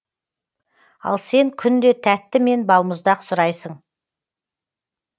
ал сен күнде тәтті мен балмұздақ сұрайсың